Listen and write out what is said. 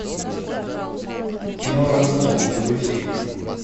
кино разлом загрузи ка